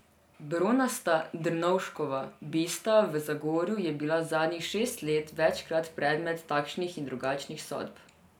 Bronasta Drnovškova bista v Zagorju je bila zadnjih šest let večkrat predmet takšnih in drugačnih sodb.